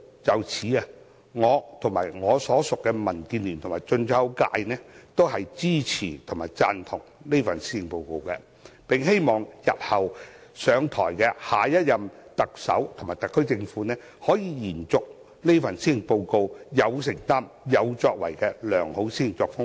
就此，我和我所屬的民主建港協進聯盟及進出口界均支持這份施政報告，並希望下任特首和特區政府可以延續這份施政報告有承擔和有作為的良好施政作風。